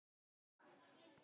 Ekki mjög mikið.